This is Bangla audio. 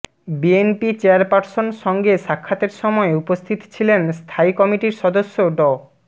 বিএনপি চেয়ারপারসন সঙ্গে সাক্ষাতের সময় উপস্থিত ছিলেন স্থায়ী কমিটির সদস্য ড